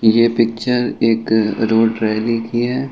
ये पिक्चर एक road rally की है।